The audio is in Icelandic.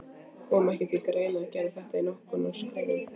Kom ekki til greina að gera þetta í nokkrum skrefum?